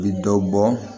U bɛ dɔ bɔ